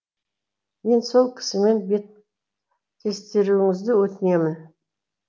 мені сол кісімен беттестіруіңізді өтінемін